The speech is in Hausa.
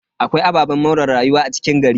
Akwai ababen more rayuwa a cikin gari.